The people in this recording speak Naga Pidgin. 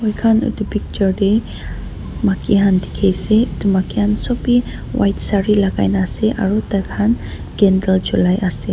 moi khan etu picture te maiki khan dekhi ase etu maiki khan sob a white sari lagai ni ase aru tai khan candle jolai ase.